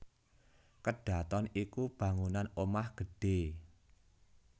Kedhaton iku bangunan omah gedhé